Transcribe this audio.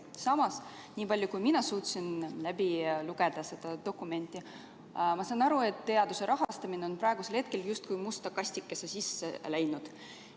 Samas, niipalju kui mina jõudsin seda dokumenti lugeda, saan ma aru, et teaduse rahastamine on praegusel hetkel justkui musta kastikese sisse läinud.